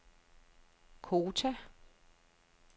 Kota